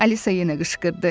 Alisa yenə qışqırdı.